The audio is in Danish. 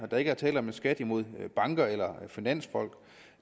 der ikke er tale om en skat imod banker eller finansfolk